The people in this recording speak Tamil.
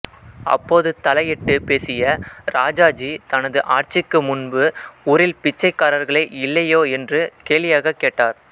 அப்போது தலையிட்டு பேசிய ராஜாஜி தனது ஆட்சிக்கு முன்பு ஊரில் பிச்சைக்காரர்களே இல்லையோ என்று கேலியாகக் கேட்டார்